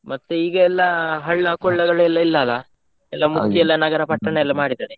ಮತ್ತೆ ಈಗ ಎಲ್ಲಾ ಹಳ್ಳ ಕೊಳ್ಳಗಳು ಈಗ ಇಲ್ಲಾ ಅಲ್ಲಾ ಎಲ್ಲಾ ಮುಚ್ಚಿ ನಗರ ಪಟ್ಟಣ ಎಲ್ಲಾ ಮಾಡಿದಾರೆ